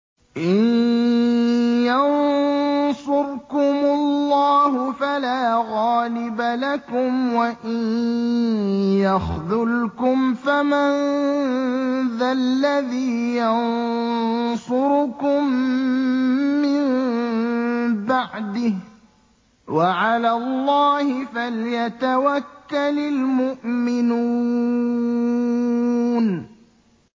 إِن يَنصُرْكُمُ اللَّهُ فَلَا غَالِبَ لَكُمْ ۖ وَإِن يَخْذُلْكُمْ فَمَن ذَا الَّذِي يَنصُرُكُم مِّن بَعْدِهِ ۗ وَعَلَى اللَّهِ فَلْيَتَوَكَّلِ الْمُؤْمِنُونَ